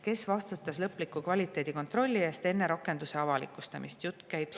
Kes vastutas lõpliku kvaliteedikontrolli eest enne rakenduse avalikustamist?